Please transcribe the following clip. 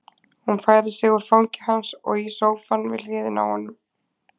Hún færir sig úr fangi hans og í sófann við hliðina á honum.